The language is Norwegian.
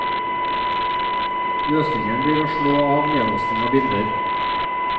Løsningen blir å slå av nedlasting av bilder.